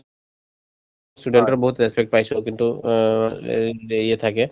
student ৰ বহুত respect পাইছো কিন্তু অ হেৰি থাকে